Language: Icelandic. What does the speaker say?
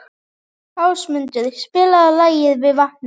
Ásmundur, spilaðu lagið „Við vatnið“.